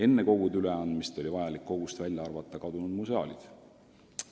Enne kogu üleandmist oli vaja sellest välja arvata kadunud museaalid.